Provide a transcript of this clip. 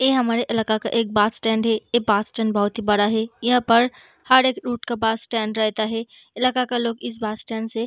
इ हमारा इलाका का एक बस स्टैंड है। यह बस स्टैंड बहुत ही बड़ा है। यहां पर हर एक रूट का बस स्टैंड रहता है। इलाका का लोग इस बस स्टैंड से --